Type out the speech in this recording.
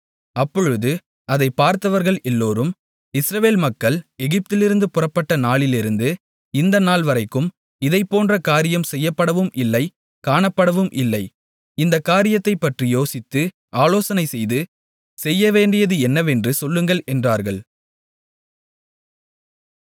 அப்பொழுது அதைப் பார்த்தவர்கள் எல்லோரும் இஸ்ரவேல் மக்கள் எகிப்திலிருந்து புறப்பட்ட நாளிலிருந்து இந்த நாள்வரைக்கும் இதைப்போன்ற காரியம் செய்யப்படவும் இல்லை காணப்படவும் இல்லை இந்தக் காரியத்தைப்பற்றி யோசித்து ஆலோசனை செய்து செய்யவேண்டியது என்னவென்று சொல்லுங்கள் என்றார்கள்